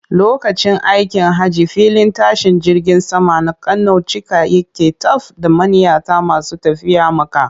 Lokacin aikin hajji filin tashin jirgin saman na Kano cika yake taf da manniyata masu tafiya Makka.